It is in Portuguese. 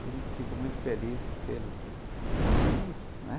Eu fico muito feliz de tê-los como amigos, né?